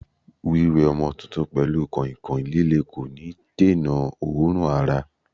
Wiwe ọmọ tuntun pelu kọ̀ìnkọ̀ìn líle kò ní dènà òórùn ara.